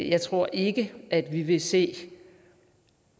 jeg tror ikke at vi vil se